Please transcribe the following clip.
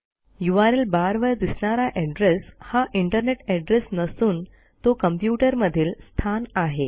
URL बारवर दिसणारा address हा इंटरनेट एड्रेस नसून तो कॉम्प्युटरमधील स्थान आहे